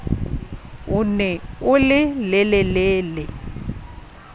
o ne o le lelele